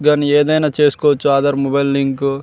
దాని ఏమైనా చేసుకోవచ్చు ఆధార్ మొబైల్ లింక్ --